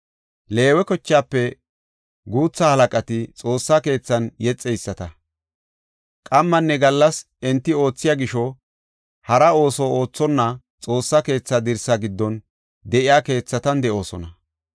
Leewe kochaafe guutha halaqati Xoossa keethan yexeyisata. Qammanne gallas enti oothiya gisho hara ooso oothonna Xoossa keetha dirsa giddon de7iya keethatan de7oosona.